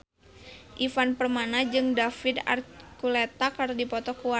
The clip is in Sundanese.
Ivan Permana jeung David Archuletta keur dipoto ku wartawan